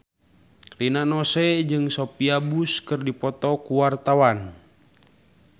Rina Nose jeung Sophia Bush keur dipoto ku wartawan